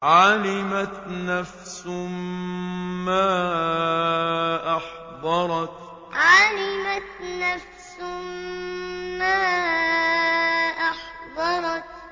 عَلِمَتْ نَفْسٌ مَّا أَحْضَرَتْ عَلِمَتْ نَفْسٌ مَّا أَحْضَرَتْ